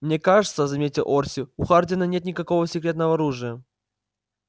мне кажется заметил орси у хардина нет никакого секретного оружия